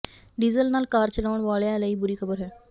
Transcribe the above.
diesel ਨਾਲ car ਚਲਾਉਣ ਵਾਲਿਆਂ ਲਈ ਬੁਰੀ ਖਬਰ ਹੈ